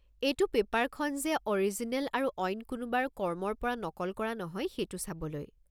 এইটো পেপাৰখন যে অ'ৰিজিনেল আৰু অইন কোনোবাৰ কৰ্মৰ পৰা নকল কৰা নহয় সেইটো চাবলৈ।